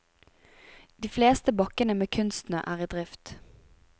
De fleste bakkene med kunstsnø er i drift.